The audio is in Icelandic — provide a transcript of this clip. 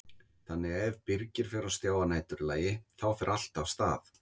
Þannig að ef Birgir fer á stjá að næturlagi þá fer allt af stað?